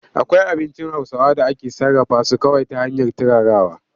Akwai abincin Hausawa da ake sarrafa su kawai ta hanyar turarawa.